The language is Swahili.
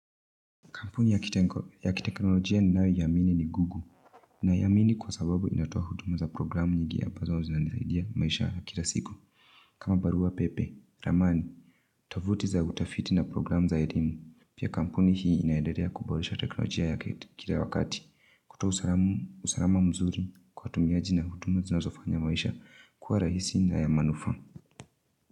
Kampuni yakiteknoloji ninayoiamini ni Google. Ninaiamini kwa sababu inatoa huduma za programu nyingi ambazo zinanisaidia katika maisha kila siku. Kama barua pepe, ramani, tovuti za utafiti na programu za elimu. Pia kampuni hi inaendelea kuboresha teknolojia yake kila wakati. Kutoa usalama mzuri kwa watumiaji na huduma zinazofanya maisha kuwa rahisi na ya manufaa.